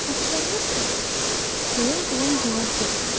Axşamınız xeyir, deyə ilan cavab verdi.